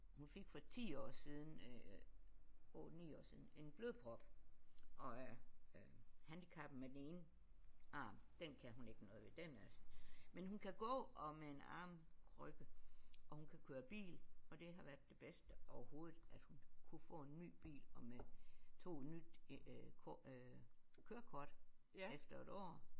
Hun fik for 10 år siden øh 8 9 år siden en blodprop og er øh handicappet med den ene arm den kan hun ikke noget ved den er men hun kan gå og med en armkrykke og hun kan køre bil og det har været det bedste overhovedet at hun kunne få en ny bil og med tog et nyt kort øh kørekort efter et år